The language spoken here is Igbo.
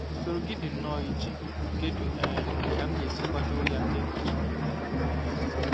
Usoro gị dị nnọọ iche; kedu um ka m ga-esi kwado ya n'egbochighị nke m? um